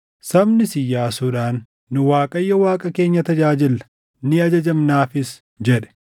Sabnis Iyyaasuudhaan, “Nu Waaqayyo Waaqa keenya tajaajilla; ni ajajamnaafis” jedhe.